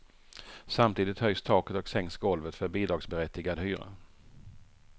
Samtidigt höjs taket och sänks golvet för bidragsberättigad hyra.